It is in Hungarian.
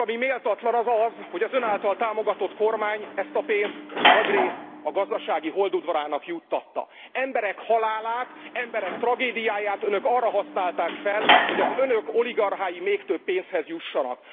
Tisztelt Képviselő Úr, ami méltatlan, az az, hogy az Ön által támogatott kormány ezt a pénzt nagyrészt a gazdasági holdudvarának juttatta. Emberek halálát, emberek tragédiáját Önök arra használták fel, hogy az Önök oligarchái még több pénzhez jussanak.